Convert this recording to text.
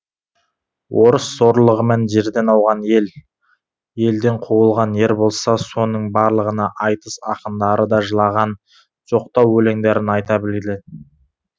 орыс зорлығымен жерден ауған ел елден қуылған ер болса соның барлығына айтыс ақындары да жылаған жоқтау өлеңдерін айта білді